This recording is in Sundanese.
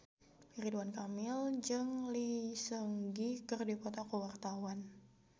Ridwan Kamil jeung Lee Seung Gi keur dipoto ku wartawan